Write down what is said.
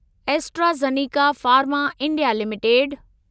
AstraZeneca Pharma India limited